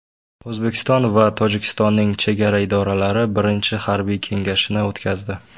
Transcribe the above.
O‘zbekiston va Tojikistonning chegara idoralari birinchi harbiy kengashini o‘tkazdi.